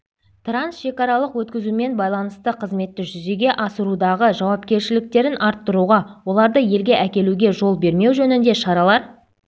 трансшекаралық өткізуімен байланысты қызметті жүзеге асырудағы жауапкершіліктерін арттыруға оларды елге әкелуге жол бермеу жөнінде шаралар